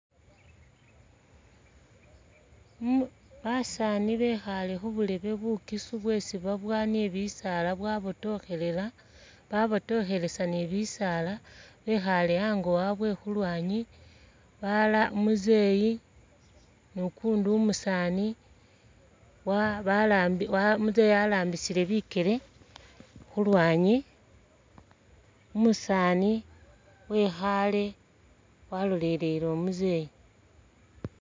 Basani bekhale khuburebe bukisu bwesi babuwa ni bisala bwabotokhelela babotokhelesa ni bisaala bekhale hango habwe khulwanyi balala umuzeyi nukundi umusani umuzeeyi alambisile bikele khulwanyi umusani wekhale walolele umuzeeyi.